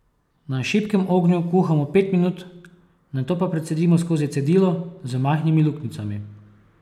Na šibkem ognju kuhamo pet minut, nato pa precedimo skozi cedilo z majhnimi luknjicami.